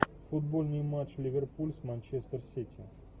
футбольный матч ливерпуль с манчестер сити